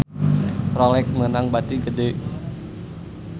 Rolex meunang bati gede